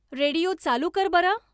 radio चालू कर बरं